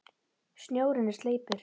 Snjórinn er sleipur!